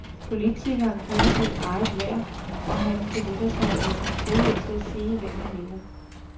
Politikeren kender sit eget værd, og han benytter sig af sin frihed til at sige, hvad han mener.